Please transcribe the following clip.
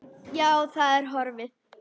Já, það er horfið.